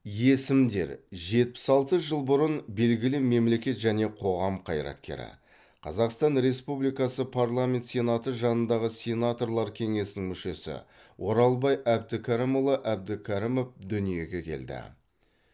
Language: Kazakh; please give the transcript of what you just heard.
есімдер жетпіс алты жыл бұрын белгілі мемлекет және қоғам қайраткері қазақстан республикасы парламент сенаты жанындағы сенаторлар кеңесінің мүшесі оралбай әбдікәрімұлы әбдікәрімов дүниеге келді